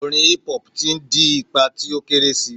Orin hip hop ti n di ipa ti o kere si